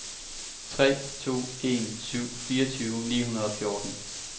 tre to en syv fireogfyrre ni hundrede og fjorten